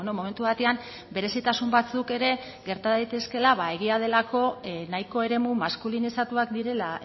momentu batean berezitasun batzuk ere gerta daitezkeela ba egia delako nahiko eremu maskulinizatuak direla